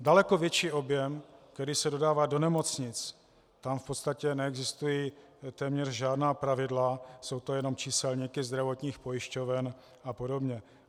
Daleko větší objem, který se dodává do nemocnic, tam v podstatě neexistují téměř žádná pravidla, jsou to jenom číselníky zdravotních pojišťoven a podobně.